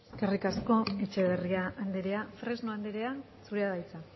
eskerrik asko etxeberria andrea fresno andrea zurea da hitza